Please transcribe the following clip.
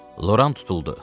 Loran tutuldu.